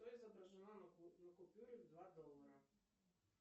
что изображено на купюре два доллара